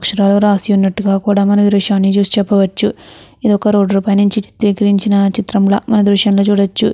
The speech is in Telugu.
అక్షరాలు రాసి ఉన్నట్టుగా కూడా మనం ఈ దృశ్యంలో చూసి చెప్పవచ్చు. ఇది ఒక రోడ్డు పై నుంచి చిత్రీకరించిన చిత్రం లాగా ఈ దృశ్యంలో చూడవచ్చు.